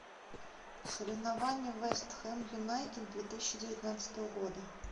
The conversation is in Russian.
соревнования вест хэм юнайтед две тысячи девятнадцатого года